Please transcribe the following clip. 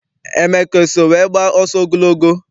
Emeka eso wee gbaa ọsọ ogologo?